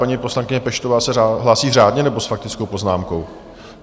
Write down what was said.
Paní poslankyně Peštová se hlásí řádně, nebo s faktickou poznámkou?